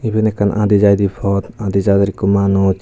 iben ekkan adi jaide pod adi jade ikko manuj.